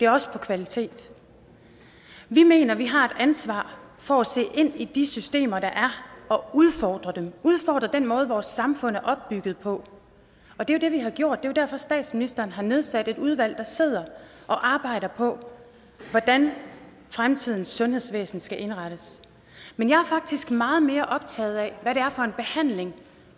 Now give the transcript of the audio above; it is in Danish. også på kvalitet vi mener vi har et ansvar for at se ind i de systemer der er og udfordre dem udfordre den måde vores samfund er opbygget på det er det vi har gjort jo derfor statsministeren har nedsat et udvalg der sidder og arbejder på hvordan fremtidens sundhedsvæsen skal indrettes men jeg er faktisk meget mere optaget af hvad det er for en behandling